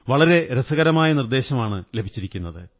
വളരെ രസകരമായ നിര്ദ്ദേ ശമാണു ലഭിച്ചിരിക്കുന്നത്